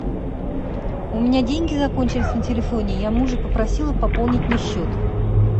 у меня деньги закончились на телефоне я мужа попросила пополнить мне счет